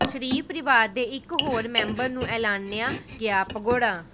ਸ਼ਰੀਫ ਪਰਿਵਾਰ ਦੇ ਇਕ ਹੋਰ ਮੈਂਬਰ ਨੂੰ ਐਲਾਨਿਆ ਗਿਆ ਭਗੌੜਾ